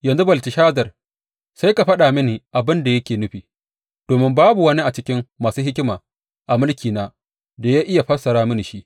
Yanzu Belteshazar, sai ka faɗa mini abin da yake nufi, domin babu wani a cikin masu hikima a mulkina da ya iya fassara mini shi.